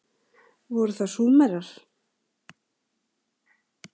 Voru það Súmerar?